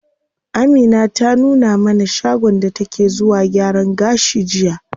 Amina ta nuna mana shagon da take zuwa gyaran gashi jiya.